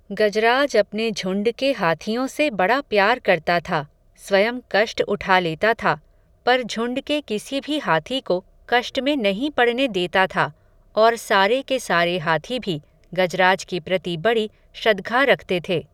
गजराज अपने झुंड के हाथियों से बड़ा प्यार करता था. स्वयं कष्ट उठा लेता था, पर झुंड के किसी भी हाथी को कष्ट में नहीं पड़ने देता था, और सारे के सारे हाथी भी, गजराज के प्रति बड़ी श्रद्घा रखते थे.